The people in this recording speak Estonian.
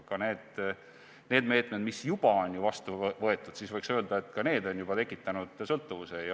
Ka need meetmed, mis juba on võetud, võiks öelda, on tekitanud sõltuvuse.